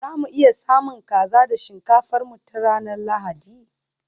za mu iya samun kaza da shinkafar mu ta ranar Lahadi?